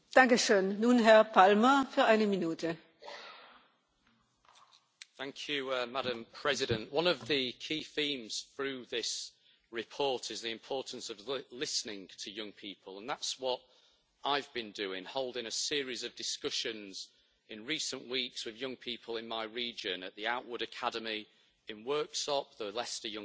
Madam President, one of the key themes through this report is the importance of listening to young people, and that is what I have been doing holding a series of discussions in recent weeks with young people in my region at the Outward Academy in Worksop, the Leicester Young People's Council,